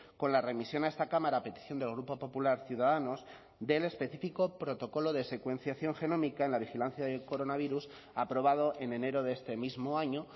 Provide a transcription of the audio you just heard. con la remisión a esta cámara a petición del grupo popular ciudadanos del específico protocolo de secuenciación genómica en la vigilancia del coronavirus aprobado en enero de este mismo año